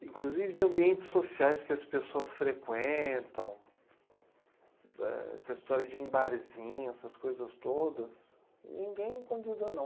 inclusive de ambientes sociais que as pessoas frequentam, essa história de ir em barzinho, essas coisas todas, ninguém me convida, não.